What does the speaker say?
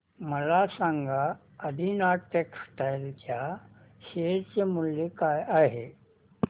मला सांगा आदिनाथ टेक्स्टटाइल च्या शेअर चे मूल्य काय आहे